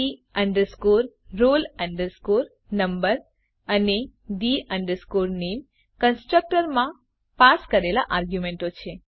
the roll number અને the name constructor માં પાસ કરેલા આર્ગ્યુંમેંટો છે